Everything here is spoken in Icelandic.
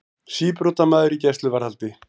Síbrotamaður í gæsluvarðhaldi